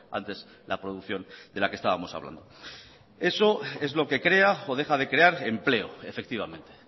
antes la producción de la que estábamos hablando eso es lo que crea o deja de crear empleo efectivamente